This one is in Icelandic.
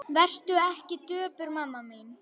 Vertu ekki döpur mamma mín.